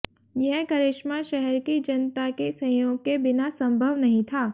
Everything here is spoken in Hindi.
यह करिश्मा शहर की जनता के सहयोग के बिना संभव नहीं था